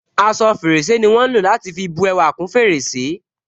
Aṣọ fèrèsé ni wọn ń lò láti fi bú ẹwà kún fèrèsé